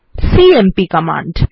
CMP command